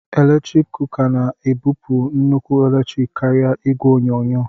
eletrik kuka na-ebupụ nnukwu eletrik karịa igwe onyonyo